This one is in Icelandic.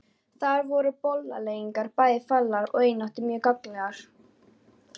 Þar voru bollaleggingar bæði faglegar og einatt mjög gagnlegar.